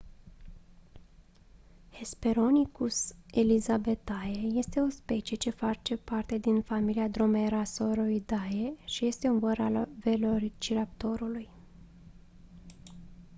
hesperonychus elizabethae este o specie ce face parte din familia dromaeosauridae și este un văr al velociraptorului